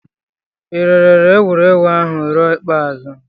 Ị lere egwuregwu ahụ ruo ikpeazụ?